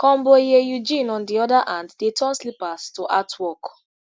konboye eugene on di oda hand dey turn slippers to artwork